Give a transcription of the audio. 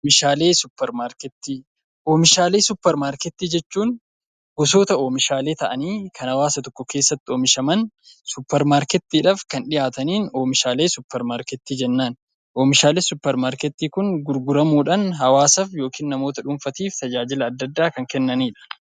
Oomishaalee suupermaarkeetii Oomishaalee suupermaarkeetii jechuun gosoota oomishaalee ta'anii kan hawaasa tokko keessatti oomishaman suupermaarkeetiidhaan kan dhihaatan oomishaalee suupermaarkeetii jennaan. Oomishaalee suupermaarkeetii Kun gurguramuudhaan hawaasa yookaan namoota dhuunfaa tajaajila addaa addaa kan kennanidha.